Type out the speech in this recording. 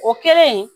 O kɛlen